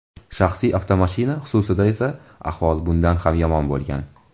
Shaxsiy avtomashina xususida esa ahvol bundan ham yomon bo‘lgan.